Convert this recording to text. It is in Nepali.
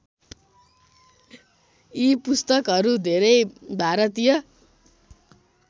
यी पुस्तकहरू धेरै भारतीय